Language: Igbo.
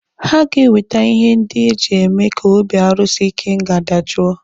Ha ga-ewete ihe ndị eji eme ka obi arusi ikenga dajoo